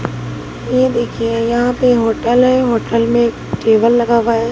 ये देखिए यहां पे होटल है होटल में टेबल लगा हुआ है।